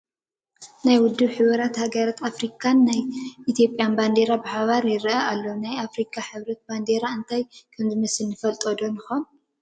ናይ ውድብ ሕቡራት ሃገራት ኣፍሪካን ናይ ኢትዮጵያ ባንዴራን ብሓባር ይርአ ኣሎ፡፡ ናይ ኣፍሪካ ሕብረት ባንዲራ እንታይ ከምዝመስል ንፈልጦ ዶ ንኸውን?